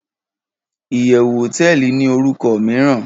iyewu hoteeli ni oruko miiran